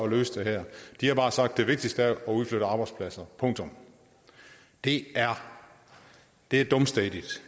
at løse det her de har bare sagt at det vigtigste er at udflytte arbejdspladser punktum det er det er dumstædigt